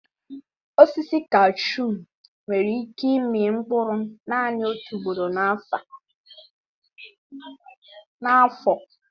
Osisi kashuu nwere ike ịmị mkpụrụ naanị otu ugboro n'afọ.